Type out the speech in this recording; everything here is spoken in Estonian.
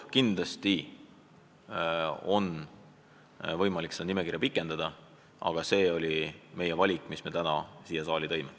Kindlasti on võimalik seda nimekirja pikendada, aga see oli meie esialgne valik, mille me täna siia saali tõime.